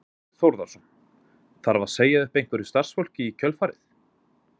Þorbjörn Þórðarson: Þarf að segja upp einhverju starfsfólki í kjölfarið?